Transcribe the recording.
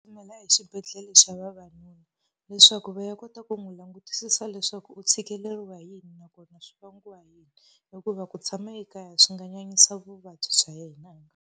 exibedhlele xa vavanuna leswaku va ya kota ku n'wi langutisisa leswaku u tshikeleriwa hi yini nakona swi vangiwa hi yini, hikuva ku tshama ekaya swi nga nyanyisa vuvabyi bya yena.